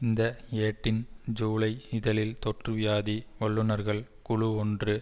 இந்த ஏட்டின் ஜூலை இதழில் தொற்றுவியாதி வல்லுனர்கள் குழு ஒன்று